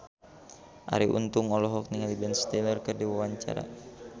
Arie Untung olohok ningali Ben Stiller keur diwawancara